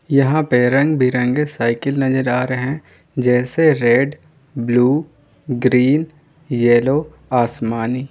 यहां पे रंग बिरंगे साइकिल नजर आ रहे हैं जैसे रेड ब्लू ग्रीन येलो आसमानी।